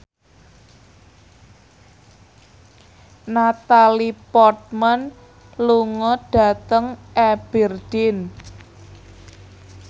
Natalie Portman lunga dhateng Aberdeen